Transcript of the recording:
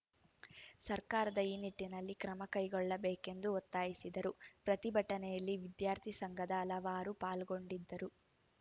ಸರ್ಕಾರದ ಈ ನಿಟ್ಟಿನಲ್ಲಿ ಕ್ರಮ ಕೈಗೊಳ್ಳಬೇಕೆಂದು ಒತ್ತಾಯಿಸಿದರು ಪ್ರತಿಭಟನೆಯಲ್ಲಿ ವಿದ್ಯಾರ್ಥಿ ಸಂಘದ ಹಲವರು ಪಾಲ್ಗೊಂಡಿದ್ದರು